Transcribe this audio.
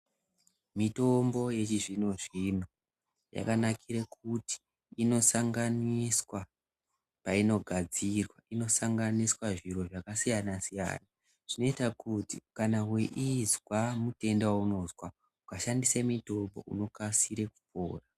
Mitombo yechizvino-zvino, yakanakire kuti inosanganiswa payi nogadzirwa, ino sanganiswa zviro zvakasiyana-siyana, zvinoyita kuti kana weyizwa mutenda waunozwa uka shandise mitombo ,uno kasira kupora.